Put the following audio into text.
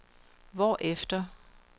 hvorefter